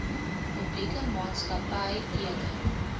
publieke maatskapy teken